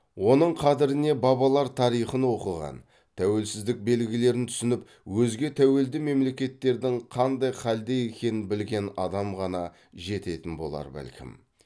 оның қадіріне бабалар тарихын оқыған тәуелсіздік белгілерін түсініп өзге тәуелді мемлекеттердің қандай халде екенін білген адам ғана жететін болар бәлкім